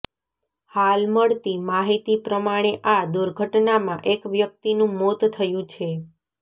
હાલ મળતી માહિતી પ્રમાણે આ દુર્ઘટનામાં એક વ્યક્તિનું મોત થયું છે